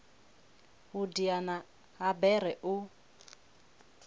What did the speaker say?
u diana ha bere u